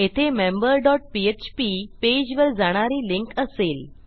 येथे member dot PHP पेजवर जाणारी लिंक असेल